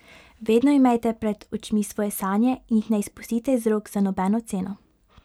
Vedno imejte pred očmi svoje sanje in jih ne izpustite iz rok za nobeno ceno.